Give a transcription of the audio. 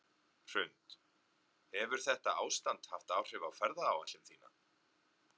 Hrund: Hefur þetta ástand haft áhrif á ferðaáætlun þína?